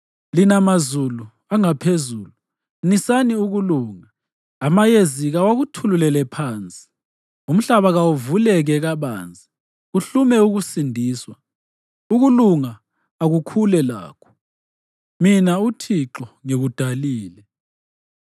Lina mazulu angaphezulu, nisani ukulunga; amayezi kawakuthululele phansi. Umhlaba kawuvuleke kabanzi kuhlume ukusindiswa, ukulunga akukhule lakho; mina, uThixo, ngikudalile.